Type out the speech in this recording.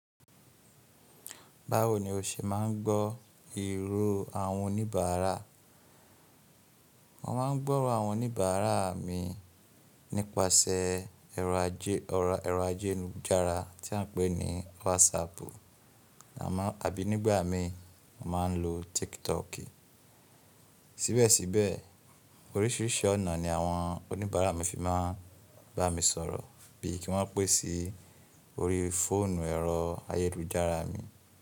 Báwo ni o ṣe máa ń gbọ́ ìró àwọn oníbàárà? Mo máa ń gbọ́ro àwọn oníbàárà mi nípasẹ̀ ẹ̀rọ ayélujára tí a ń pè ní WhatsApp àbí nígbà mi mo máa ń lo TikTok. Síbẹ̀síbẹ̀ oríṣìíríṣìí ọ̀nà ni àwọn oníbàárà mi fi máa ń bá mi sọ̀rọ̀ bí i kí wọ́n pè sí orí fóònù ẹ̀rọ ayélujára mi.